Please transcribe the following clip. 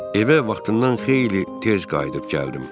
Evə vaxtından xeyli tez qayıdıb gəldim.